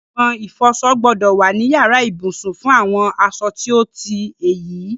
Agbọ̀n ìfọsọ gbọ́dọ̀ wà ní yàrá ìbùsùn fún àwọn asọ tí ó ti èyí.